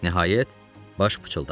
Nəhayət, Baş pıçıldadı.